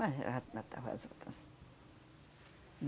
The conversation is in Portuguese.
Mas já já estava.